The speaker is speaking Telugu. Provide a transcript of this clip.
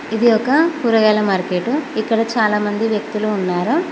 ఇది ఒక కూరగాయల మార్కెటు ఇక్కడ చాలామంది వ్యక్తులు ఉన్నారు.